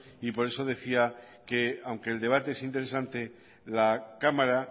y por eso decía que aunque el debate es interesante la cámara